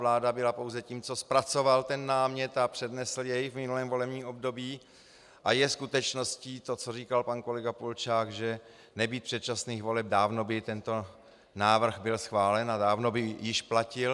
Vláda byla pouze tím, kdo zpracoval ten námět a přednesl jej v minulém volebním období, a je skutečností to, co říkal pan kolega Polčák, že nebýt předčasných voleb, dávno by tento návrh byl schválen a dávno by již platil.